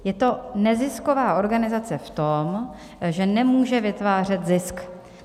Je to nezisková organizace v tom, že nemůže vytvářet zisk.